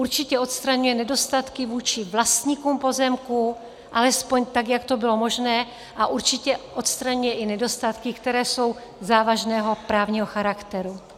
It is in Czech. Určitě odstraňuje nedostatky vůči vlastníkům pozemků alespoň tak, jak to bylo možné, a určitě odstraňuje i nedostatky, které jsou závažného právního charakteru.